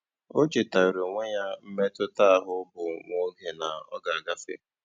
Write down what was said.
Ó chétáárá ónwé yá mmétụ́tà áhụ̀ bụ́ nwá óge nà ọ́ gà-àgáfé.